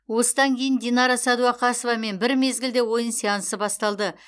осыдан кейін динара сәдуақасовамен бір мезгілде ойын сеансы басталды